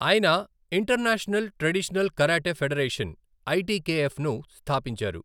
ఆయన international traditional karate federation, ఐటికేఎఫ్ను స్థాపించారు.